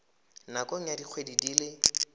nakong ya dikgwedi di le